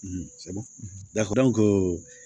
lafo